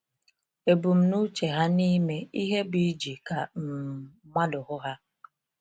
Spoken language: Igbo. Ebumnuche ha n’ịme ihe bụ ‘iji ka um mmadụ hụ ha.’